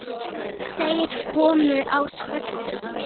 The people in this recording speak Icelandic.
Þeir komu á svörtum